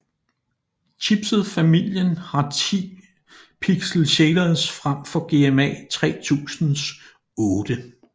Chipset familien har ti pixel shaders frem for GMA 3000s otte